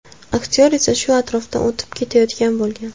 Aktyor esa shu atrofdan o‘tib ketayotgan bo‘lgan.